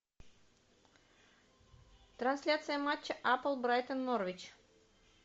трансляция матча апл брайтон норвич